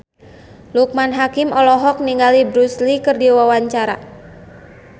Loekman Hakim olohok ningali Bruce Lee keur diwawancara